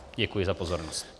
Děkuji za pozornost.